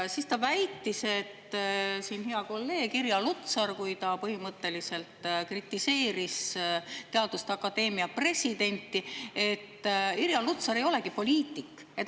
Siis ta väitis, et hea kolleeg Irja Lutsar, kes põhimõtteliselt kritiseeris teaduste akadeemia presidenti, ei olegi poliitik.